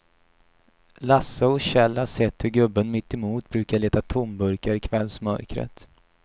Lasse och Kjell har sett hur gubben mittemot brukar leta tomburkar i kvällsmörkret.